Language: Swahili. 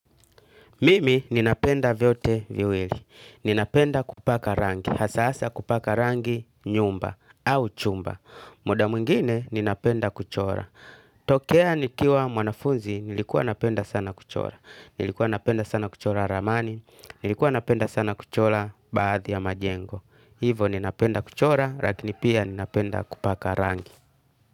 Mimi ninapenda vyote viwili. Ninapenda kupaka rangi. Hasa hasa kupaka rangi nyumba au chumba. Muda mwingine ninapenda kuchora. Tokea nikiwa mwanafunzi nilikuwa napenda sana kuchora. Nilikuwa napenda sana kuchora ramani. Nilikuwa napenda sana kuchora baadhi ya majengo. Hivo ninapenda kuchora lakini pia ninapenda kupaka rangi.